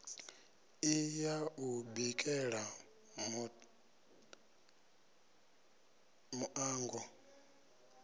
i ya u bikela muṋango